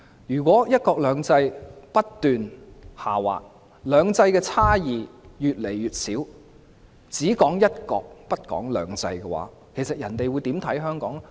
如果"一國兩制"不斷下滑，"兩制"的差異越來越少，只談"一國"不談"兩制"，人家會如何看待香港呢？